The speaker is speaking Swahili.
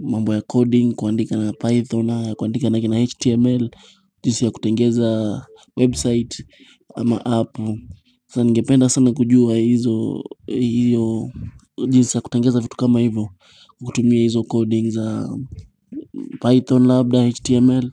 Mambo ya coding, kuandika na python, kuandika na html, jinsi ya kutengeza website ama app. Sama ningependa sana kujua hizo hiyo jinsi ya kutengeza vitu kama hivyo. Kutumia hizo coding za python, labda, html.